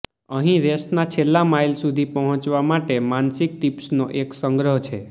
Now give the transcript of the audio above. અહીં રેસના છેલ્લા માઇલ સુધી પહોંચવા માટે માનસિક ટીપ્સનો એક સંગ્રહ છે